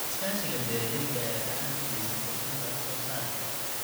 Iskaashiga beeralayda ayaa gacan ka geysta kordhinta wax soo saarka.